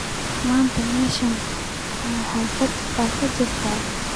maanta meesheenii ma xaflad baa ka jirta